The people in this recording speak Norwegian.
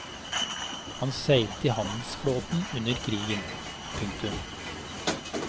Han seilte i handelsflåten under krigen. punktum